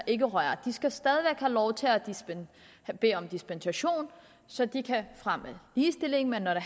ikke røre de skal stadig have lov til at bede om dispensation så de kan fremme ligestilling men når